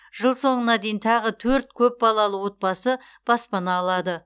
жыл соңына дейін тағы төрт көп балалы отбасы баспана алады